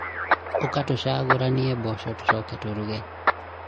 ũka tũcagũranie mboco tũcoke tũruge